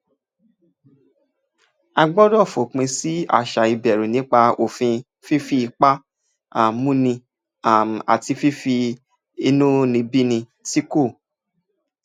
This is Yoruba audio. a gbọ́dọ̀ fòpin sí àṣà ìbẹ̀rù nípa òfin fífi ipá um múni um àti fífi inúnibíni tí kò